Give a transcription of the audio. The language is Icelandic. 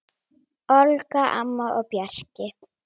Olga, Anna og Bjarki.